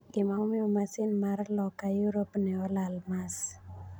Gima omiyo masin mar Loka Yurop ne olal Mars.